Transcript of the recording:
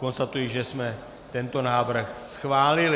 Konstatuji, že jsme tento návrh schválili.